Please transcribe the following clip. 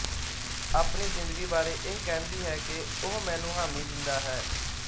ਆਪਣੀ ਜਿੰਦਗੀ ਬਾਰੇ ਇਹ ਕਹਿੰਦੀ ਹੈ ਕਿ ਉਹ ਮੈਨੂੰ ਹਾਮੀ ਦਿੰਦਾ ਹੈ